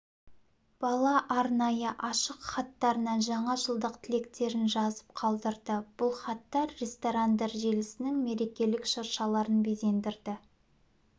бала арнайы ашық хаттарына жаңажылдық тілектерін жазып қалдырды бұл хаттар ресторандар желісінің мерекелік шыршаларын безендірді